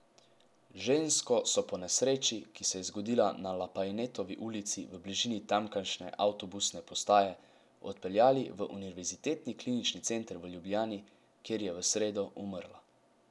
Žensko so po nesreči, ki se je zgodila na Lapajnetovi ulici v bližini tamkajšnje avtobusne postaje, odpeljali v Univerzitetni klinični center v Ljubljani, kjer je v sredo umrla.